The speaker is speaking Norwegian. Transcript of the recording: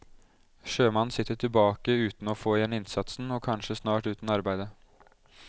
Sjømannen sitter tilbake uten å få igjen innsatsen og kanskje snart uten arbeide.